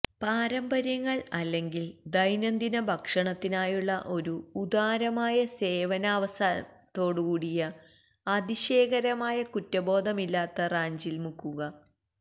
പാരമ്പര്യങ്ങൾ അല്ലെങ്കിൽ ദൈനംദിന ഭക്ഷണത്തിനായുള്ള ഒരു ഉദാരമായ സേവനാവസാനത്തോടുകൂടിയ അതിശയകരമായ കുറ്റബോധമില്ലാത്ത റാഞ്ചിൽ മുക്കുക